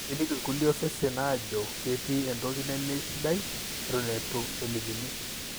keliki ilkulie osesen ajo ketii entoki nemesidai eton etu elikini